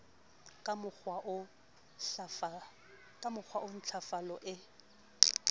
ka mokgowa oo ntlafalo e